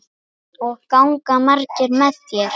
Og ganga margir með þér?